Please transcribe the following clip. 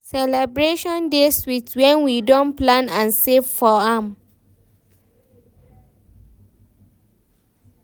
Celebration dey sweet when we don plan and save for am.